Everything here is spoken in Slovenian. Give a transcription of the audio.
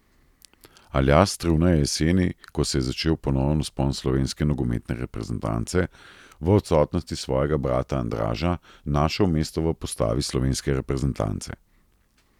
Aljaž Struna je jeseni, ko se je začel ponoven vzpon slovenske nogometne reprezentance, v odsotnosti svojega brata Andraža našel mesto v postavi slovenske reprezentance.